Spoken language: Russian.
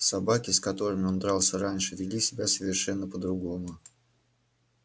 собаки с которыми он дрался раньше вели себя совершенно по-другому